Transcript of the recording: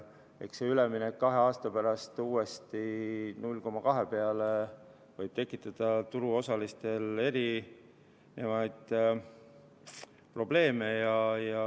Eks see üleminek kahe aasta pärast uuesti 0,2 peale võib tekitada turuosalistel eri probleeme.